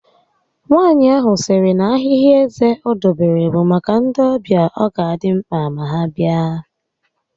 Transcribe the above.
Nwaànyị ahụ sịrị na ahịhị eze o dobere bụ maka ndị ọbịa ọ ga adị mkpa ma ha bịa